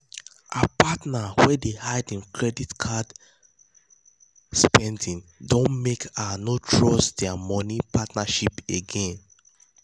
her partner wey dey hide hin credit card spending don make her no trust dia money partnership again.